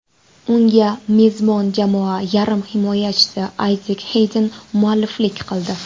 Unga mezbon jamoa yarim himoyachisi Ayzek Xeyden mualliflik qildi.